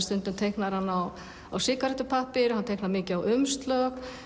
stundum teiknar hann á sígarettupappír hann teiknar mikið á umslög